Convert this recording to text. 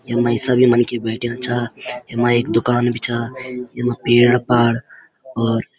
यम्मा ये सभी मनखी बैठ्याँ छा यम्मा एक दूकान भी छा यम्मा पेड़-पाड और --